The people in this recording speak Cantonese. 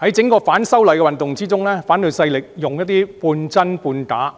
在整個反修例運動中，反對勢力用一些半真半假、